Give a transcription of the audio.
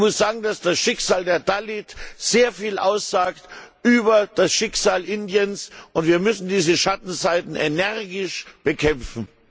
Und ich muss sagen, dass das Schicksal der Dalits sehr viel aussagt über das Schicksal Indiens, und wir müssen diese Schattenseiten energisch bekämpfen.